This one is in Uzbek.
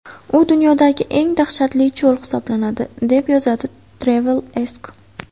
U dunyodagi eng dahshatli cho‘l hisoblanadi, deb yozadi TravelAsk.